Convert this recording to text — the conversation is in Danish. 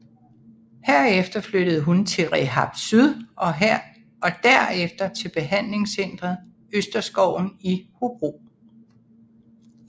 Herefter flyttede hun til Rehab Syd og derefter til behandlingscentret Østerskoven i Hobro